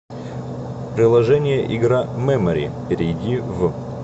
приложение игра мемори перейди в